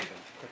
Qaçın elə.